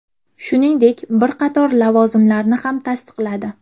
Shuningdek, bir qator lavozimlarni ham tasdiqladi.